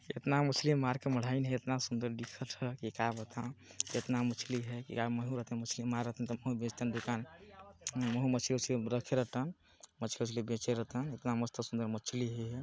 एतना मछली मार के मढ़ाइन हे एतना सुंदर दिखत हा की का बताव एतना मछली हे यार महू रतेव मछली मारतन त महू बेचतन दुकान महू मछली-वछली रखे रतन मछली वछली बेचे रतन एतना मस्त सुन्दर मछली हे।